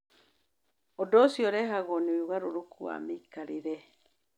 Ũndũ ũcio ũrehagwo nĩ ũgarũrũku wa mĩikarĩre.